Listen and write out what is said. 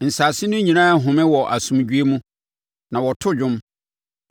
Nsase no nyinaa rehome wɔ asomdwoeɛ mu; na wɔto dwom.